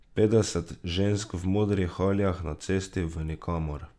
Petdeset žensk v modrih haljah na cesti v nikamor.